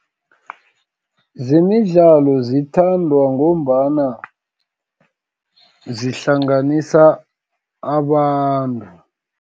Zemidlalo zithandwa ngombana, zihlanganisa abantu.